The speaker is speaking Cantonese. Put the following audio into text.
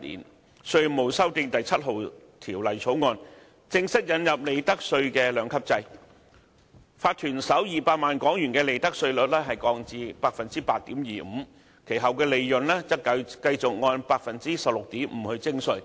年稅務條例草案》，正式引入利得稅兩級制，將法團首200萬港元利潤的利得稅率降至 8.25%， 其後利潤則繼續按 16.5% 徵稅。